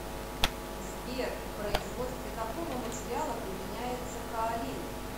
сбер в производстве какого материала применяется каолин